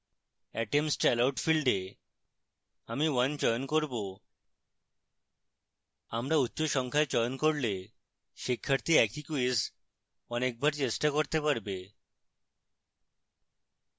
attempts allowed ফীল্ডে আমি 1 চয়ন করব আমরা উচ্চ সংখ্যা চয়ন করলে শিক্ষার্থী একই ক্যুইজ অনেকবার চেষ্টা করতে পারবে